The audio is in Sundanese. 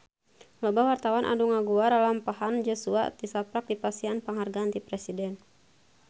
Loba wartawan anu ngaguar lalampahan Joshua tisaprak dipasihan panghargaan ti Presiden